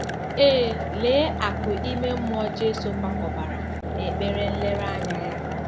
Ee, lee akụ̀ ime mmụọ Jesu kwakobara n'ekpere nlereanya ya!